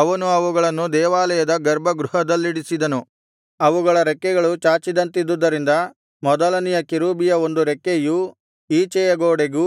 ಅವನು ಅವುಗಳನ್ನು ದೇವಾಲಯದ ಗರ್ಭಗೃಹದಲ್ಲಿಡಿಸಿದನು ಅವುಗಳ ರೆಕ್ಕೆಗಳು ಚಾಚಿದಂತಿದ್ದುದರಿಂದ ಮೊದಲನೆಯ ಕೆರೂಬಿಯ ಒಂದು ರೆಕ್ಕೆಯು ಈಚೆಯ ಗೋಡೆಗೂ